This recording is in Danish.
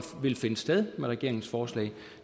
vil finde sted med regeringens forslag